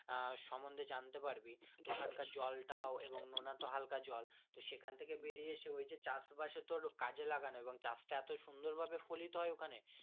আহ সমন্ধে জানতে পারবি ওখান কার জলটা নোনাতো তো হালকা জল সে কহেন থাকে বেরিয়ে আসে ইও যে চাষ বাস এর তে ওদের কাজে লাগানো এবং চাষ টা এত সুন্দর ভাবে ফলিত হয় ওখানে।